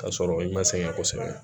Ka sɔrɔ i ma sɛgɛn kosɛbɛ